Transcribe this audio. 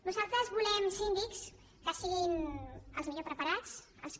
nosaltres volem síndics que siguin els millor preparats els que